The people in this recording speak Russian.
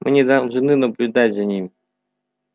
мы не должны наблюдать за ним